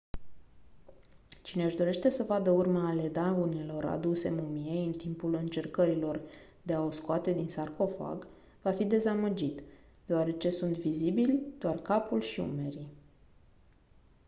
cine-și dorește să vadă urme ale daunelor aduse mumiei în timpul încercărilor de a o scoate din sarcofag va fi dezamăgit deoarece sunt vizibili doar capul și umerii